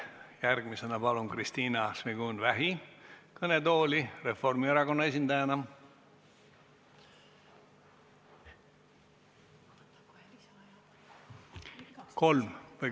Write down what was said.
Järgmisena palun kõnetooli Kristina Šmigun-Vähi Reformierakonna esindajana.